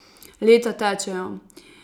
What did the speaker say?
Leta tečejo.